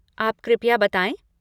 आप कृपया बताएं।